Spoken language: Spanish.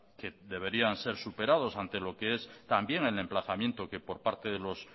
que deberían ser superados ante lo que es también el emplazamiento que por parte de los